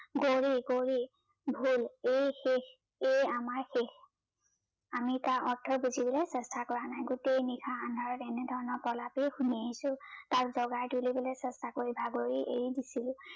গৌৰি গৌৰি গল এই শেষ এই আমাৰ শেষ ।আমি তাৰ অৰ্থ বুজিবলৈ চেষ্টা কৰা নাই, গোতেই নিশা আন্ধাৰত তাৰ এনেধৰনৰ প্ৰলাপেই শুনি আহিছো তাক জগাই দিবলৈ চেষ্টা কৰি ভাগৰি এৰি দিছিলো